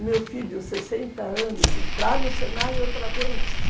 O meu filho, sessenta anos, entrar no Senai outra vez.